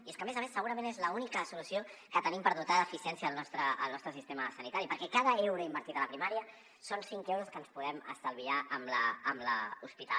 i és que a més a més segurament és l’única solució que tenim per dotar d’eficiència el nostre sistema sanitari perquè cada euro invertit a la primària són cinc euros que ens podem estalviar amb l’hospital